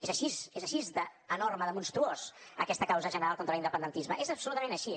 és així és així d’enorme de monstruosa aquesta causa general contra l’independentisme és absolutament així